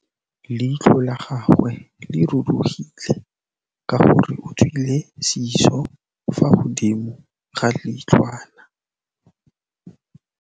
Leitlhô la gagwe le rurugile ka gore o tswile sisô fa godimo ga leitlhwana.